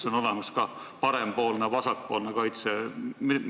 Kas on olemas ka parempoolne ja vasakpoolne kaitse?